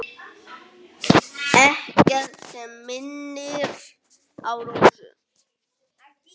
Ekkert sem minnir á Rósu.